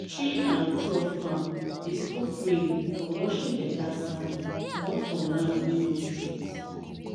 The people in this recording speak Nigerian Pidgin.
tree and crop farm dey stop rain from washing better sand comot for land wey nor straight